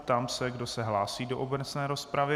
Ptám se, kdo se hlásí do obecné rozpravy.